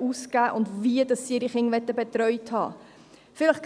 ausgeben und wie sie ihre Kinder betreut haben möchten.